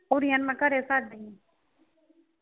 ਕੁੜੀਆਂ ਨੂੰ ਮੈਂ ਘਰੇ ਛੱਡ ਗਈ ਸੀ